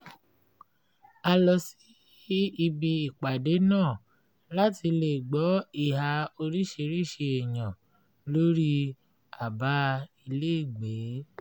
a lọ sí ibi ìpàdé náà láti lè gbọ́ ìhà oríṣiríṣi èèyàn lórí abá ilégbèé